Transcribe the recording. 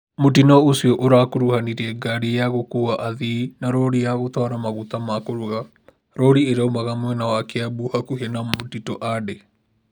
Mũtino ũcio ũrakuruhanirie wa ngari ya gũkua athii na lori ya gũtwara magũta makũruga Lori ĩraumaga mwena wa kĩambu hakuhĩ na mtito ande